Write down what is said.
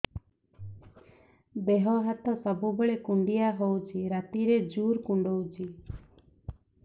ଦେହ ହାତ ସବୁବେଳେ କୁଣ୍ଡିଆ ହଉଚି ରାତିରେ ଜୁର୍ କୁଣ୍ଡଉଚି